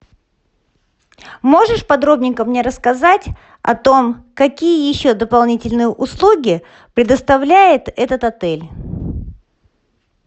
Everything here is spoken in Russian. можешь подробненько мне рассказать о том какие еще дополнительные услуги предоставляет этот отель